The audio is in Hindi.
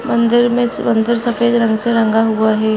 मंदिर मे मंदिर सफ़ेद रंग से रंगा हुआ है।